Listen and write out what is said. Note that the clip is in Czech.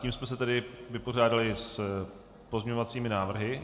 Tím jsme se tedy vypořádali s pozměňovacími návrhy.